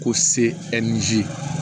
Ko se ɛ ɛri